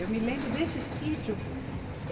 Eu me lembro desse sítio.